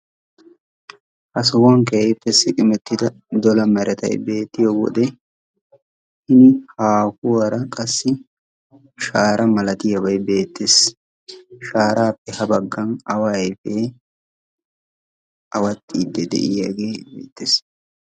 Ha sohuwan keehippe siqmertida dola meretay beettiyo wode hini haahuwara qassi shaara malatiyaabay beettees. Shaarappe ha baggan awa aype awaxiide de'iyaage beettees.